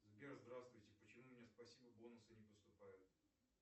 сбер здравствуйте почему мне спасибо бонусы не поступают